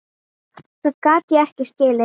Það gat ég ekki skilið.